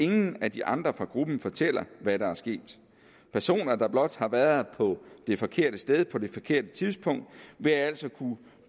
nogen af de andre fra gruppen der fortæller hvad der er sket personer der blot har været på det forkerte sted på det forkerte tidspunkt vil altså kunne